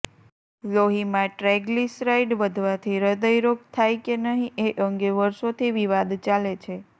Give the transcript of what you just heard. લોહીમાં ટ્રાયગ્લીસરાઇડ વધવાથી હ્રદયરોગ થાય કે નહીં એ અંગે વર્ષોથી વિવાદ ચાલે છે